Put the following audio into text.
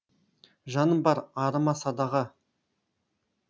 жаным бар арыма садаға